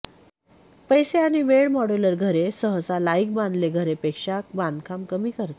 पैसे आणि वेळ मॉड्यूलर घरे सहसा लाइक बांधले घरे पेक्षा बांधकाम कमी खर्च